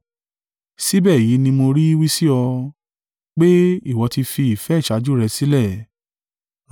Síbẹ̀ èyí ni mo rí wí sí ọ, pé, ìwọ ti fi ìfẹ́ ìṣáájú rẹ sílẹ̀.